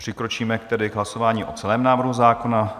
Přikročíme tedy k hlasování o celém návrhu zákona.